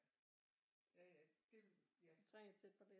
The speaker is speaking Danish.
Ja ja det ja